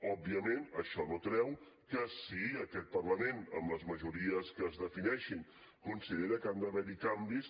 òbviament això no treu que si aquest parlament amb les majories que es defineixin considera que han d’haver hi canvis